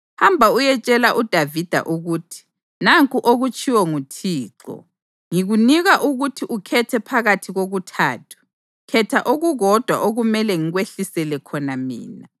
“Hamba uyetshela uDavida ukuthi, ‘Nanku okutshiwo nguThixo: Ngikunika ukuthi ukhethe phakathi kokuthathu. Khetha okukodwa okumele ngikwehlisele khona mina.’ ”